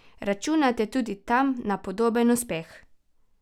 Računate tudi tam na podoben uspeh?